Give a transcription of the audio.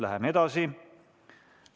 Läheme edasi!